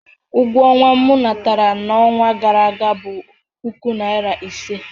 Ụgwọ ọnwa m natara n'ọnwa gara aga bụ puku naira ise.